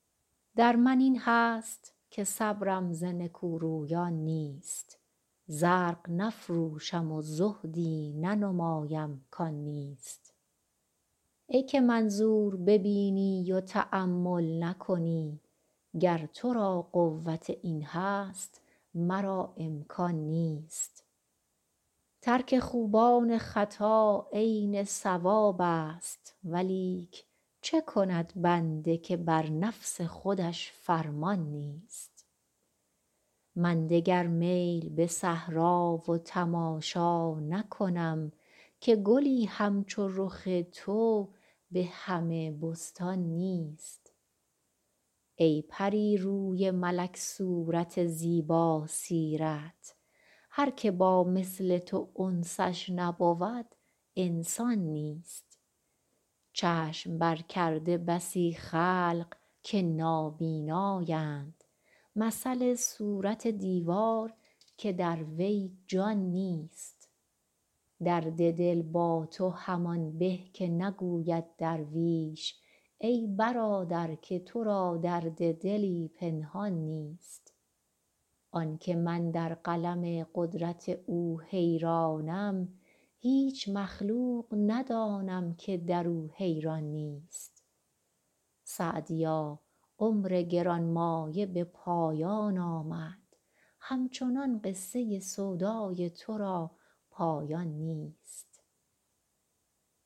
در من این هست که صبرم ز نکورویان نیست زرق نفروشم و زهدی ننمایم کان نیست ای که منظور ببینی و تأمل نکنی گر تو را قوت این هست مرا امکان نیست ترک خوبان خطا عین صوابست ولیک چه کند بنده که بر نفس خودش فرمان نیست من دگر میل به صحرا و تماشا نکنم که گلی همچو رخ تو به همه بستان نیست ای پری روی ملک صورت زیباسیرت هر که با مثل تو انسش نبود انسان نیست چشم برکرده بسی خلق که نابینااند مثل صورت دیوار که در وی جان نیست درد دل با تو همان به که نگوید درویش ای برادر که تو را درد دلی پنهان نیست آن که من در قلم قدرت او حیرانم هیچ مخلوق ندانم که در او حیران نیست سعدیا عمر گران مایه به پایان آمد همچنان قصه سودای تو را پایان نیست